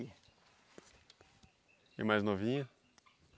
E a mais novinha?